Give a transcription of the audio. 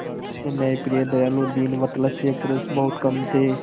ऐसे न्यायप्रिय दयालु दीनवत्सल पुरुष बहुत कम थे